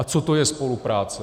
A co to je spolupráce?